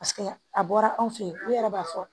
Paseke a bɔra anw fɛ ye olu yɛrɛ b'a fɔ